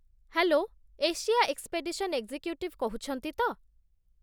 Hello! Asia expedition executive କହୁଛନ୍ତି ତ?